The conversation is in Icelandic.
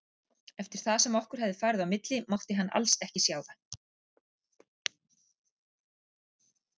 Eftir það sem okkur hafði farið á milli mátti hann alls ekki sjá það.